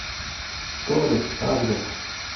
торис адрес